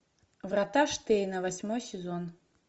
врата штейна восьмой сезон